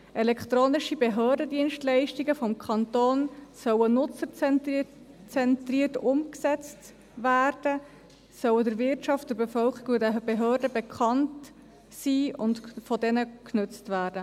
Elektronische Behördendienstleistungen des Kantons sollen nutzerzentriert umgesetzt werden, sie sollen der Wirtschaft, der Bevölkerung und den Behörden bekannt sein und von diesen genutzt werden.